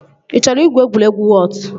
Ị chọrọ igwu egwuregwu wọọt?